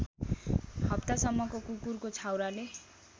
हप्तासम्मको कुकुरको छाउराले